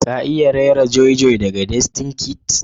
ka iya raira joy joy daga destined kids?